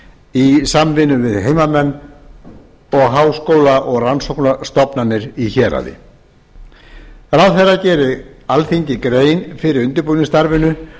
í samvinnu við heimamenn og háskóla og rannsóknastofnanir í héraði ráðherra geri alþingi grein fyrir undirbúningsstarfinu